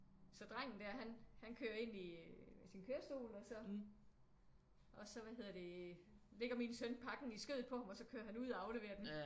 Så drengen der han han kører ind i sin kørestol og så og så hvad hedder det øh ligger min søn pakken i skødet på ham og så kører han ud og afleverer den